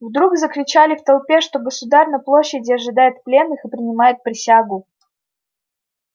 вдруг закричали в толпе что государь на площади ожидает пленных и принимает присягу